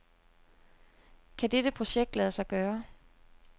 Kan dette projekt lade sig gøre?